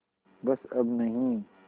बस अब नहीं